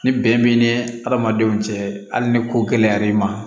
Ni bɛn b'i ni adamadenw cɛ hali ni ko gɛlɛya i ma